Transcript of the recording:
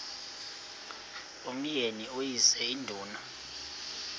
umyeni uyise iduna